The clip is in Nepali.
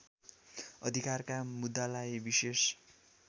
अधिकारका मुद्दालाई विशेष